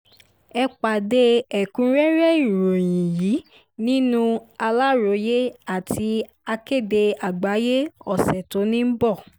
ẹ pàdé ẹ̀kúnrẹ́rẹ́ ìròyìn yìí nínú aláròyé àti akéde àgbáyé ọ̀sẹ̀ tó ń bọ̀